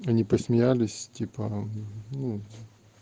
они посмеялись типа ну